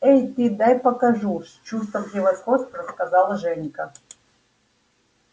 эй ты дай покажу с чувством превосходства сказал женька